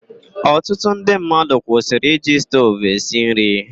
Ọtụtụ ndị mmadụ kwụsịrị iji stovu esi nri.